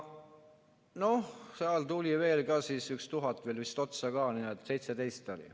No seal tuli veel 1000 otsa ka, nii et 17 000 oli.